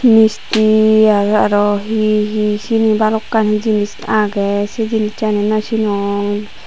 misti agey aro hi hi seni balokkani jinis agey sey jinissani naw sinong.